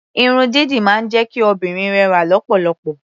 Irun dídì máa ń jẹ́ kí obìnrin rẹwà lọ́pọ̀lọpọ̀.